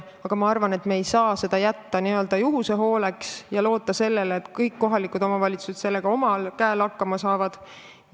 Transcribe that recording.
Aga ma arvan, et me ei saa seda jätta juhuse hooleks ja loota sellele, et kõik kohalikud omavalitsused sellega omal käel hakkama saavad.